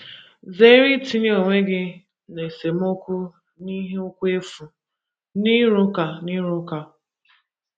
Zeere itinye onwe gị ‘ n’esemokwu n’ihi okwu efu ’ na ‘ n’ịrụ ụka. n’ịrụ ụka. ’